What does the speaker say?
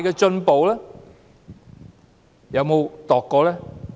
政府有否量度過呢？